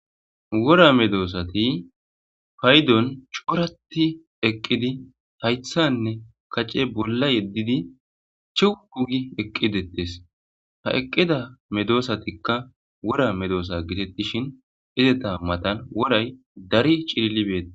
Worra medossati payidoni coora gididi eqidosona hayisatikka coo gidi eqidetesi eqida medossatika wora medossa gidishini enitta mattani worayi darri kehi betesi